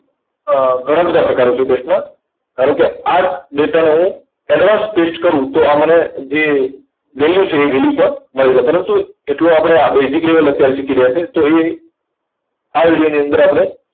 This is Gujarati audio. અર ઘણા બધા પ્રકારો છે paste ના. ધારો કે આ જ data ને હું advance paste કરું, તો આ મને જે value છે, એ value માં મળી રહે. પરંતુ એટલું આપણે basic level અત્યારે શીખી રહ્યા છે, તો એ આ video ની અંદર આપણે